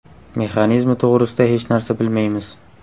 Mexanizmi to‘g‘risida hech narsa bilmaymiz.